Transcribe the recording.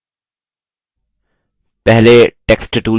पहले text tool चुनें